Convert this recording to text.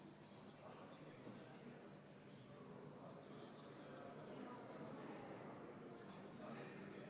Raudteeseaduse § 92 lõigetega 11 ja 12 on kehtestatud erandid Euroopa Parlamendi ja nõukogu määruse rongireisijate õiguste ja kohustuste kohta teatud artiklite rakendamisel.